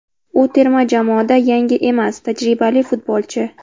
U terma jamoada yangi emas, tajribali futbolchi.